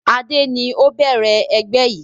Adé ni ó bẹ̀rẹ̀ ẹgbẹ́ yìí